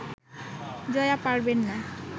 জয়া পারবেন না